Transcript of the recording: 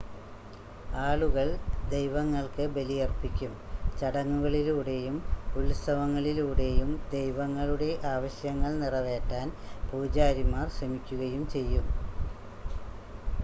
ആളുകൾ ദൈവങ്ങൾക്ക് ബലിയർപ്പിക്കും ചടങ്ങുകളിലൂടെയും ഉത്സവങ്ങളിലൂടെയും ദൈവങ്ങളുടെ ആവശ്യങ്ങൾ നിറവേറ്റാൻ പൂജാരിമാർ ശ്രമിക്കുകയും ചെയ്യും